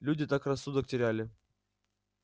люди так рассудок теряли